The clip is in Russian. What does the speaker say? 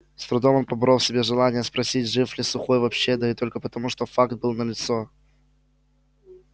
с трудом он поборол в себе желание спросить жив ли сухой вообще да и то только потому что факт был налицо